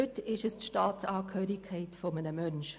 » Heute ist es die Staatsangehörigkeit eines Menschen.